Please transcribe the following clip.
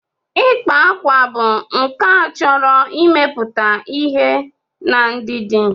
Ịkpa akwa bụ nkà chọrọ imepụta ihe na ndidi.